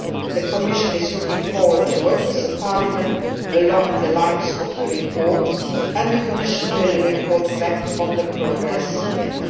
The Commission is looking forward to working with Parliament along the lines of the report, and will report back on the progress made.